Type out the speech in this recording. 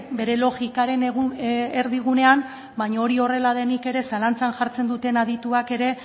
bere logikaren erdigunea baino horrela denik ere zalantza jartzen duten adituak ere